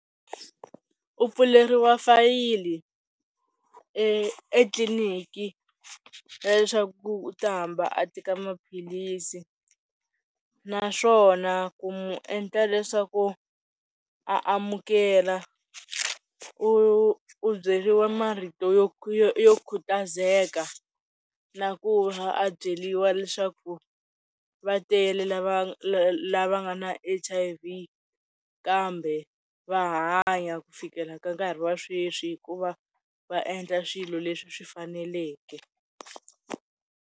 U pfuleriwa fayili etliniki ya leswaku u ta hamba a teka maphilisi naswona ku mu endla leswaku a amukela u u byeriwa marito yo yo khutazeka na ku va byeriwa leswaku va tele lava nga na H_I_V kambe va hanya ku fikela ka nkarhi wa sweswi hikuva va endla swilo leswi swi faneleke.